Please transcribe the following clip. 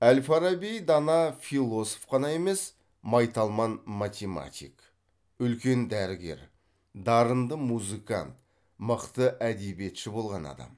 әл фараби дана философ қана емес майталман математик үлкен дәрігер дарынды музыкант мықты әдебиетші болған адам